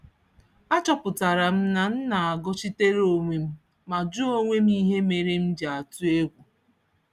A chọpụtaram na m nagọchitere onwem, ma jụọ onwem ihe méré m ji atụ égwu.